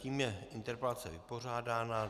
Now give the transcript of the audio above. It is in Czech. Tím je interpelace vypořádána.